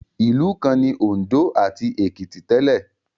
Ìlú kan ni Òǹdó ati Èkìtì tẹ́lẹ̀